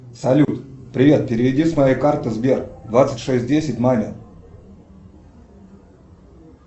салют привет переведи с моей карты сбер двадцать шесть десять маме